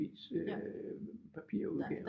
Avis øh papirudgaven